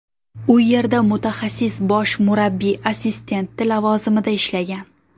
U yerda mutaxassis bosh murabbiy assistenti lavozimida ishlagan.